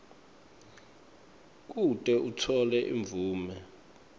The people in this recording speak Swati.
kute utfole imvume